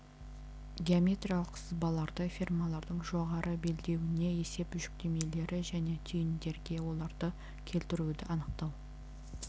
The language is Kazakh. геометриялық сызбаларды ферманың жоғары белдеуіне есеп жүктемелері және түйіндерге оларды келтіруді анықтау